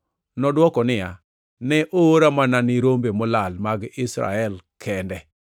Nodwoko niya, “Ne oora mana ne rombe molal mag Israel kende.”